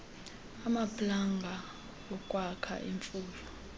amaplanga okwakha imfuyo